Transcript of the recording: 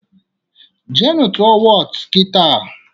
Jee nụ tụọ Wọọtụ kitaa!